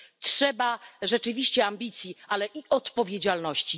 Trzeba rzeczywiście ambicji, ale i odpowiedzialności.